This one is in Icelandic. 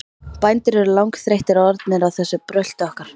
Bændur eru langþreyttir orðnir á þessu brölti okkar.